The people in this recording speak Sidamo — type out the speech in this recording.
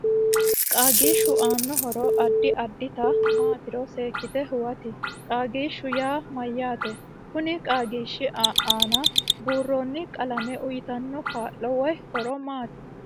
Qaagiishu aano horo addi addita maatiro seekite huwati qaagishaho yaa mayaate kuni qaagishi aana buurooni qalame uyiitanno kaa'lo woy horo maati